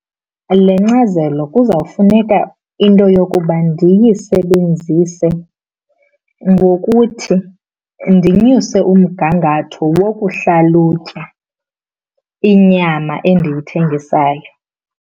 Le nkcazelo kuzawufuneka into yokuba ndiyisebenzise ngokuthi ndinyuse umgangatho wokuhlalutya inyama endiyithengisayo.